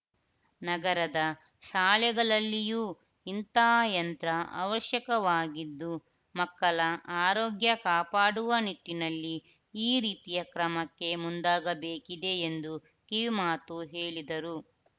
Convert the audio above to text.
ನಗರದ ಶಾಲೆಗಳಲ್ಲಿಯೂ ಇಂಥ ಯಂತ್ರ ಅವಶ್ಯಕವಾಗಿದ್ದು ಮಕ್ಕಳ ಆರೋಗ್ಯ ಕಾಪಾಡುವ ನಿಟ್ಟಿನಲ್ಲಿ ಈ ರೀತಿಯ ಕ್ರಮಕ್ಕೆ ಮುಂದಾಗಬೇಕಿದೆ ಎಂದು ಕಿವಿಮಾತು ಹೇಳಿದರು